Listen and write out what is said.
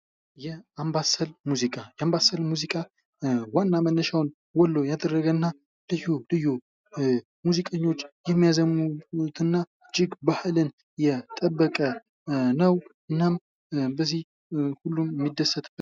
የአምባሰል ሙዚቃ፡- የአምባሰል ሙዚቃ ዋና መነሻውን ወሎ ያደረገና ልዩ ልዩ ሙዚቀኞች የሚያዜሙት፥ እጅግ ባህልን የጠበቀ ነው። እናም በዚህ ሁሉም የሚደሰትበት ነው።